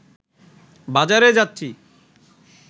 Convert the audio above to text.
বাজারে যাচ্ছি